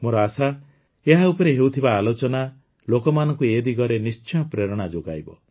ମୋର ଆଶା ଏହା ଉପରେ ହେଉଥିବା ଆଲୋଚନା ଲୋକମାନଙ୍କୁ ଏ ଦିଗରେ ନିଶ୍ଚୟ ପ୍ରେରଣା ଯୋଗାଇବ